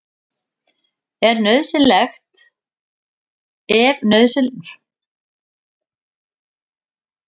Ef nauðsynlegt er að léttast er best að gera það hægt og jafnt.